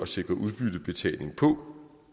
sikre udbyttebetaling på